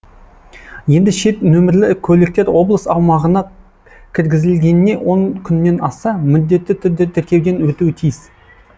енді шет нөмірлі көліктер облыс аумағына кіргізілгеніне он күннен асса міндетті түрде тіркеуден өтуі тиіс